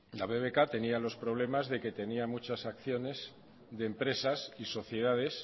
la bbk tenía los problemas de que tenía muchas acciones de empresas y sociedades